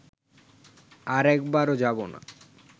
আর একবারও যাব না